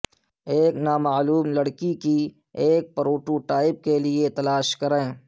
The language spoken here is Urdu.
ایک نامعلوم لڑکی کی ایک پروٹوٹائپ کے لئے تلاش کریں